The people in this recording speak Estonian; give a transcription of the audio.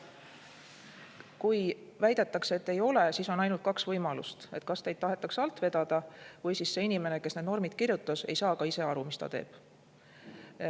Kui väidetakse, et ei ole, siis on ainult kaks võimalust: kas teid tahetakse alt vedada või siis see inimene, kes need normid kirjutas, ei saa ise aru, mis ta teeb.